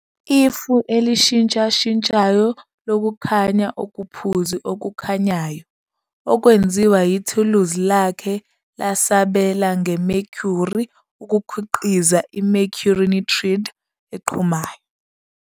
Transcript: "Ifu elishintshashintshayo lokukhanya okuphuzi okukhanyayo" okwenziwa yithuluzi lakhe lasabela nge-mercury ukukhiqiza i-mercury nitride eqhumayo.